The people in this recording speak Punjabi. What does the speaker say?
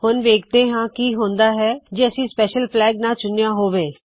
ਹੁਣ ਵੇਖਦੇ ਹਾ ਕੀ ਹੁੰਦਾ ਹੈ ਜੇ ਅਸੀ ਸਪੈਸ਼ਲ ਫਲੈਗ ਨਾ ਚੁਣਿਆ ਹੋਵੇ